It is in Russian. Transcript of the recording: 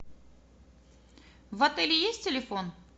в отеле есть телефон